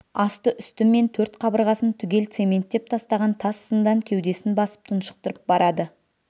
асты-үсті мен төрт қабырғасын түгел цементтеп тастаған тас зындан кеудесін басып тұншықтырып барады